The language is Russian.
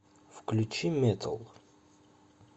включи метал